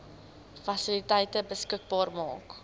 fasiliteite beskikbaar maak